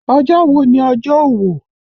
Ọjọ́ wo ni ọjọ́ òwò?